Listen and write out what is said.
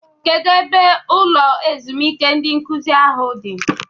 Kedụ ebe ụlọ ezumike ndị nkụzi ahụ dị?